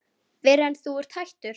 Fyrr en þú ert hættur.